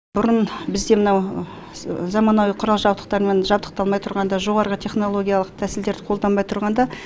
бұрын бізде мынау заманауи құрал жабдықтармен жабдықталмай тұрғанда жоғары технологиялық тәсілдерді қолданбай тұрғанда